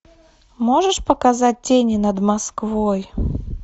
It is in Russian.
можешь показать тени над москвой